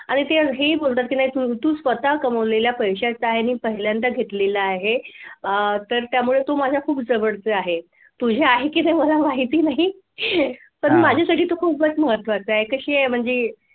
आणि ते हेही बोलतात कि नाय तू तू स्वतः बनवलेला पैशांच्या आणि पहिल्यांदा घेतलेला आहे तर तू माझ्या खूप जवळचे आहे तुझ्या आहे की नाही मला माहिती नाही पण माझ्यासाठी तो खूप महत्त्वाचा आहे कशी आहे म्हणजे